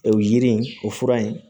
O yiri in o fura in